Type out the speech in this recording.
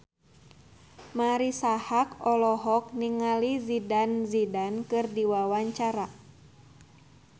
Marisa Haque olohok ningali Zidane Zidane keur diwawancara